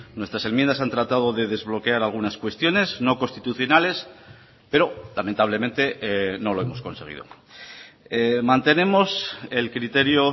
nuestras enmiendas han tratado de desbloquear algunas cuestiones no constitucionales pero lamentablemente no lo hemos conseguido mantenemos el criterio